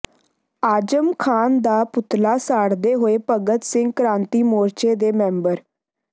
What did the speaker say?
ਆਜਮ ਖਾਨ ਦਾ ਪੁਤਲਾ ਸਾੜਦੇ ਹੋਏ ਭਗਤ ਸਿੰਘ ਕ੍ਰਾਂਤੀ ਮੋਰਚੇ ਦੇ ਮੈਂਬਰ